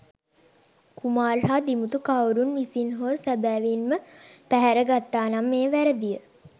කුමාර් හා දිමුතු කවුරුන් විසින් හෝ සැබැවින්ම පැහැර ගත්තා නම් එය වැරදිය.